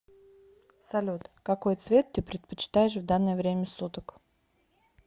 салют какой цвет ты предпочитаешь в данное время суток